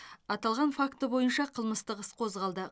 аталған факті бойынша қылмыстық іс қозғалды